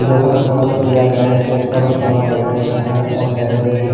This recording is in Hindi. डेकोरेशन अच्छा खासा किया गया स्टेज पर कुछ लोग वहां बैठे हुए हैं और ठहरे हुए भी--